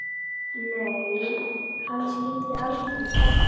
Nei, hann skyldi aldrei sleppa honum.